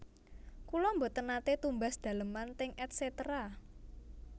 Kula mboten nate tumbas daleman teng Et cetera